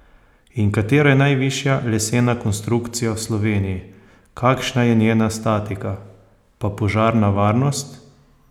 In, katera je najvišja lesena konstrukcija v Sloveniji, kakšna je njena statika, pa požarna varnost?